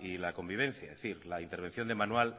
y la convivencia es decir la intervención de manual